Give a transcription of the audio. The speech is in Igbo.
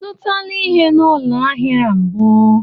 I zụtala ihe n'ụlọ ahịa a mbụ?